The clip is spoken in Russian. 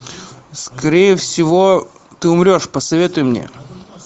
скорее всего ты умрешь посоветуй мне